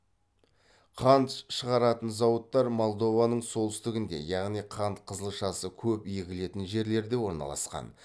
қант щығаратын зауыттар молдованың солтүстігінде яғни қант қызылшасы көп егілетін жерлерде орналасқан